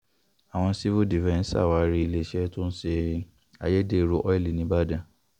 àwọn sìfù dìfẹ̀ǹsì sàwárí iléeṣẹ́ tó ń ṣe ayédèrú ọ́ìlì ńìbàdàn